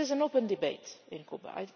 This is an open debate in Cuba.